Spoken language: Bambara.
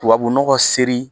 Tubabu nɔgɔ seri